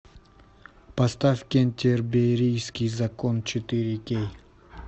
поставь кентерберийский закон четыре кей